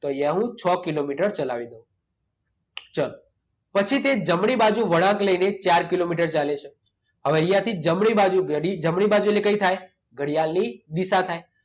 તો અહીંયા હું છ કિલોમીટર ચલાવી દઉં. ચાલો. પછી તે જમણી બાજુ વળાંક લઈને ચાર કિલોમીટર ચાલે છે. હવે અહિયાંથી જમણી બાજુ ઘડી, જમણી બાજુ એટલે કઈ થાય? ઘડિયાળની દિશા થાય.